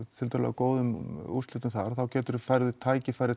góðum úrslitum þar þá færðu tækifæri